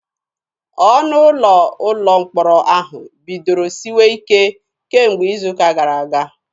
Ọnụ ụlọ ụlọ mkpọrọ ahụ bidoro siwe isi kemgbe izu ụka gara aga.